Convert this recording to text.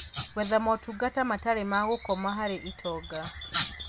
Gwetha motungata matarĩ ma gũkoma harĩ itonga